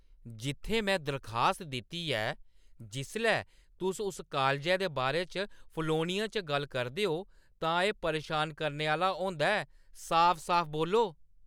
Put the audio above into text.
जित्थै में दरखास्त दित्ती ऐ जिसलै तुस उस कालजै दे बारे च फलौह्‌नियें च गल्ल करदे ओ तां एह् परेशान करने आह्‌ला होंदा ऐ। साफ-साफ बोल्लो